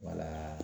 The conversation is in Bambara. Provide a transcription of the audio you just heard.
Wala